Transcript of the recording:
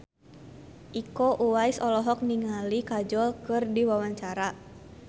Iko Uwais olohok ningali Kajol keur diwawancara